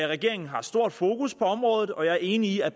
regeringen har stort fokus på området og jeg er enig i at